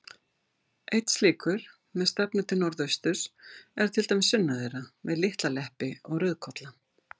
Einn slíkur, með stefnu til norðausturs, er til dæmis sunnan þeirra, við Litla-Leppi og Rauðkolla.